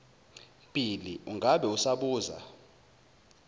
bhili ungabe usabuza